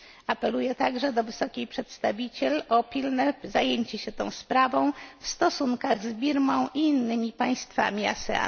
Apeluję także do wysokiej przedstawiciel o pilne zajęcie się tą sprawą w stosunkach z Birmą i innymi państwami ASEAN.